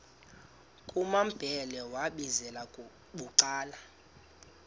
kumambhele wambizela bucala